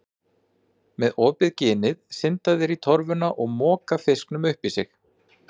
Með opið ginið synda þeir í torfuna og moka fiskinum upp í sig.